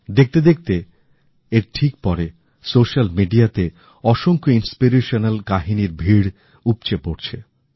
দেখতে দেখতে এর ঠিক পরে স্যোসাল মিডিয়াতেঅসংখ্য অনুপ্রেরণামূলক কাহিনীর ভীড় উপচে পড়ছে